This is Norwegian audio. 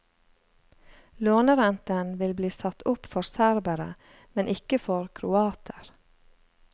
Lånerenten vil bli satt opp for serbere, men ikke for kroater.